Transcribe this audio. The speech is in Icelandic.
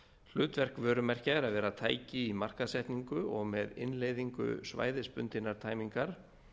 hlutverk vörumerkja er að vera tæki í markaðssetningu og með innleiðingu svæðisbundinnar tæmingar